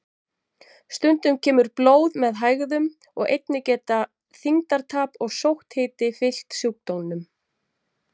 Stundum kemur blóð með hægðum og einnig geta þyngdartap og sótthiti fylgt sjúkdómnum.